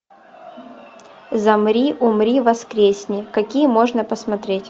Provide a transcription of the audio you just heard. замри умри воскресни какие можно посмотреть